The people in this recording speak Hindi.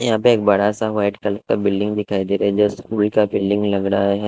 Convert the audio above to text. यहां पे एक बड़ा सा वाइट कलर का बिल्डिंग दिखाई दे रहा है स्कूल का बिल्डिंग हो रहा है।